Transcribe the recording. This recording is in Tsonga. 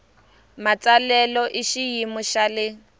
matsalelo hi xiyimo xa le